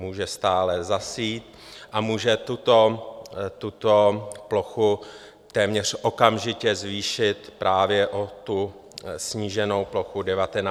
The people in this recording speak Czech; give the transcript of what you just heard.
Může stále zasít a může tuto plochu téměř okamžitě zvýšit právě o tu sníženou plochu 19 000 hektarů.